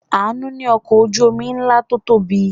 Àánú ní ọkọ̀ ojú-omi ńlá tó tóbi.